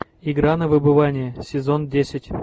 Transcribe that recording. игра на выбывание сезон десять